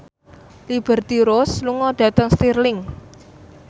Liberty Ross lunga dhateng Stirling